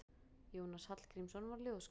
Jónas Hallgrímsson var ljóðskáld.